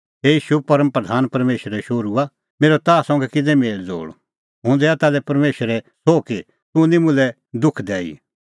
हे ईशू परम प्रधान परमेशरे शोहरूआ मेरअ ताह संघै कै मेल़ज़ोल़ हुंह दैआ ताल्है परमेशरे सोह कि तूह निं मुल्है दुख दैई